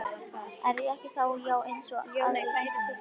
Er ég ekki þá í, já eins og aðrir Íslendingar?